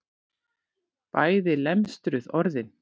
Bæði lemstruð orðin.